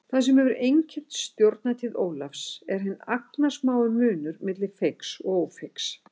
Það sem hefur einkennt stjórnartíð Ólafs er hinn agnarsmái munur milli feigs og ófeigs.